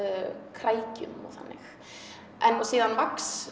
krækjum og þannig og síðan